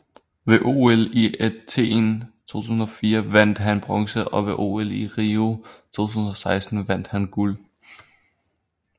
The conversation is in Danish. Ved OL i Athen 2004 vandt han bronze og ved OL i Rio 2016 vandt han guld